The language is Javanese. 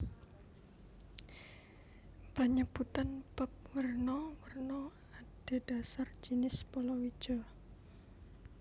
Panyebutan bap werna werna adhedhasar jinis palawija